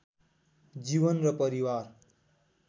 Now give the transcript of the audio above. जीवन र परिवार